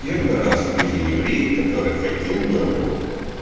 первый раз вижу еврея которые хотел бы работать